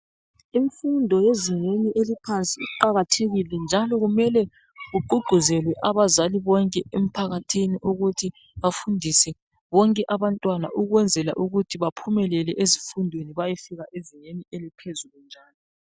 Imfundo yezingeni eliphansi iqakathekile njalo kumele kugqugquzelwe abazali bonke emphakathini ukuthi bafundise bonke abantwana ukwenzela ukuthi baphumelele ezifundweni bayefika yezingeni eliphezulu njalo